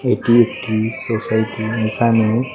এটি একটি সোসাইটি এখানে--